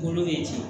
Kolo ye